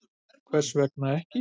Hvers vegna ekki